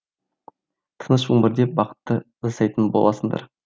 тыныш өмірде бақытты жасайтын боласыңдар